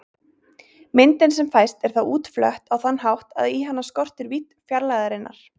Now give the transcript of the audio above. Myndin sem fæst er þá útflött á þann hátt að í hana skortir vídd fjarlægðarinnar.